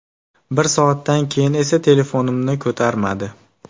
Bir soatdan keyin esa telefonimni ko‘tarmadi.